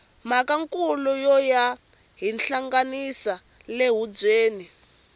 mhaka nkula yo yo hinhlanganisa la khubyeni